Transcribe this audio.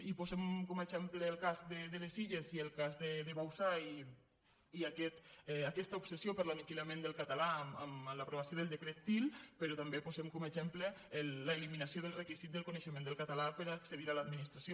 i posem com a exemple el cas de les illes i el cas de bauzá i aquesta obsessió per l’aniquilament del cata·là amb l’aprovació del decret til però també posem com a exemple l’eliminació del requisit del coneixe·ment del català per accedir a l’administració